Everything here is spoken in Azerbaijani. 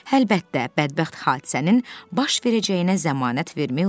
Əlbəttə, bədbəxt hadisənin baş verəcəyinə zəmanət vermək olmaz.